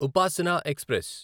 Upasana express